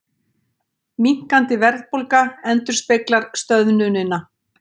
Minnkandi verðbólga endurspeglar stöðnunina